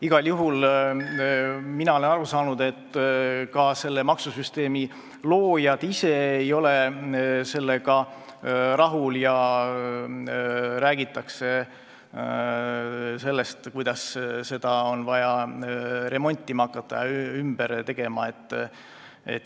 Igal juhul olen ma aru saanud, et ka selle maksusüsteemi loojad ise ei ole sellega rahul, räägitakse sellest, kuidas seda on vaja remontima ja ümber tegema hakata.